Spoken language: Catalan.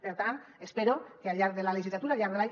per tant espero que al llarg de la legislatura al llarg de l’any